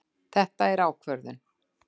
Þetta er ákvörðun!